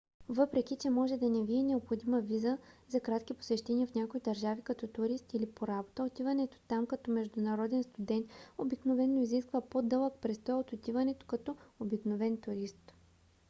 въпреки че може да не ви е необходима виза за кратки посещения в някои държави като турист или по работа отиването там като международен студент обикновено изисква по-дълъг престой от отиването като обикновен турист